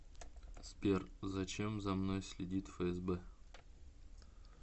сбер зачем за мной следит фсб